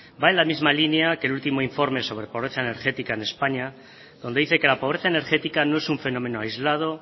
va en la misma línea que el último informe sobre pobreza energética en españa donde dice que la pobreza energética no es un fenómeno aislado